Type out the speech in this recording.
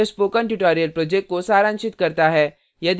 यह spoken tutorial project को सारांशित करता है